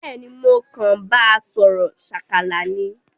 Béèni mo kan ba sòrò sákálá ni